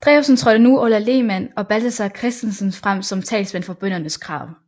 Drewsen trådte nu Orla Lehmann og Balthazar Christensen frem som talsmænd for bøndernes krav